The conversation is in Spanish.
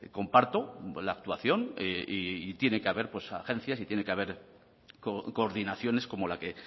comparto la actuación y tiene que haber agencias y tiene que hacer coordinaciones como la que